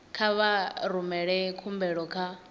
kha vha rumele khumbelo kha